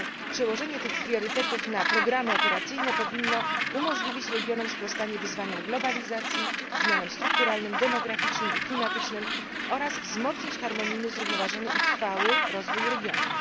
Przełożenie tych priorytetów na programy operacyjne powinno umożliwić regionom sprostanie wyzwaniom globalizacji, zmianom strukturalnym, demograficznym i klimatycznym oraz wzmocnić harmonijny, zrównoważony i trwały rozwój regionów.